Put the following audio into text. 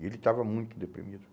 E ele estava muito deprimido.